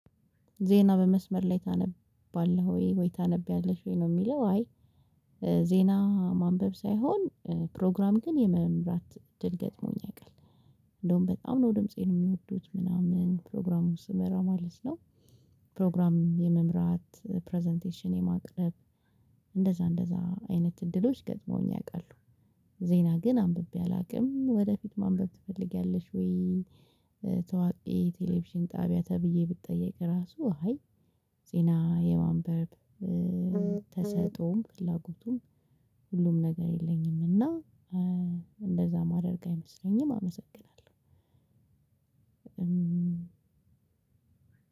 ዜና በመስመር ላይ ታነባለህወይ? ወይ ታነብያለሽ ወይ ነው የሚለው አይ ዜና ማንበብ ሳይሆን ፕሮግራም ግን የመምራት እድል ገጥሞኝ ያውቃል። እንደውም በጣም ነው ድምፄን የሚወዱት ምናምን ፕሮግራሙ ስመራ ማለት ነው። ፕሮግራም የመምራት ፕረዘንቴሽን የማቅረብ እንደዛ እንደዛ አይነት እድሎች ገጥመውኝ ያውቃሉ። ዜና ግን አንብቤ አላቅም ወደፊት ማንበብ ትፈልጊያለሽወይ? ታዋቂ የ ቴሌቪዥን ጣቢያ ተብዬ ብጠየቅ እራሱ አይ። ዜና የማንበብ ተሰጦም ፍላጎቱም ሁሉም ነገር የለኝም። እና እንደዛ ማደርግ አይመስለኝም አመሰግናለሁ።